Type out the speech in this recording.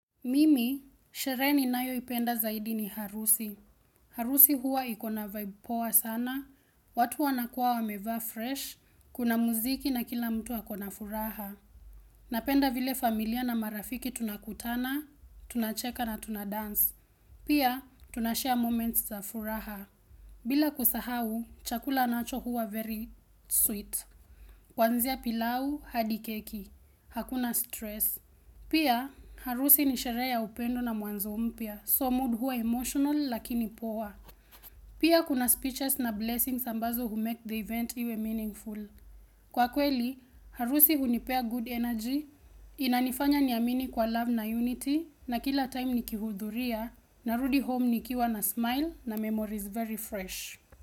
Mimi, sherehe ninayoipenda zaidi ni harusi. Harusi huwa iko na vibe poa sana. Watu wanakuwa wamevaa fresh, kuna muziki na kila mtu ako na furaha. Napenda vile familia na marafiki tunakutana, tunacheka na tunadance. Pia, tunashare moments za furaha. Bila kusahau, chakula nacho huwa very sweet. Kuanzia pilau, hadi keki. Hakuna stress. Pia, harusi ni sherehe ya upendo na mwanzo mpya. So mood huwa emotional lakini poor. Pia kuna speeches na blessings ambazo humake the event iwe meaningful. Kwa kweli, harusi hunipea good energy Inanifanya niamini kwa love na unity na kila time nikihudhuria na rudi home nikiwa na smile na memories very fresh.